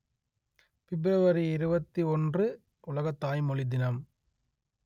பிப்ரவரி இருபத்தி ஒன்று உலக தாய்மொழி தினம்